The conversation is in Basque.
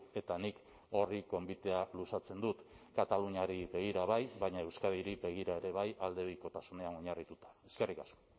eta nik horri gonbitea luzatzen dut kataluniari begira bai baina euskadiri begira ere bai aldebikotasunean oinarrituta eskerrik asko